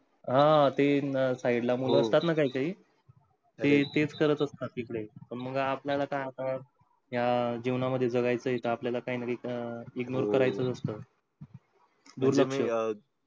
आह ते ना side ला मुलं असतात ना काही काही ते तेच करत असतात इकडे, मग आपल्याला काय आता या जीवनामध्ये जगायचं आहे का? आपल्याला काही ना काही ignore करायचं च असतं. दुर्लक्ष